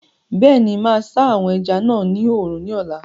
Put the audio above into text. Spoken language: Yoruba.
Bẹ́ẹ̀ni, máa sá àwọn ẹja náà ní oòrùn ní ọ̀la